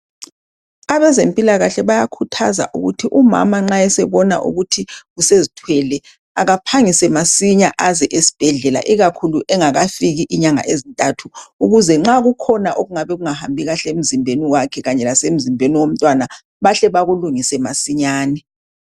Abezempilakahle bayakhuthaza ukuthi umama nxa esebona ukuthi usezithwele akaphangise masinya eze esibhedlela ikakhulu engakafiki inyanga ezintathu ukuze nxa kukhona okungabe kungahambi kahle emzimbeni womntwana bahle bakulungise masinyane.